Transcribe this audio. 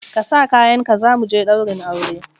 Ka sa kayanka za mu je ɗaurin aure!